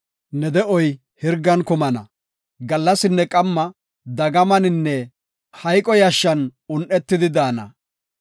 Ne de7oy hirgan kumana; gallasinne qamma dagamaninne hayqo yashshan un7etada daana.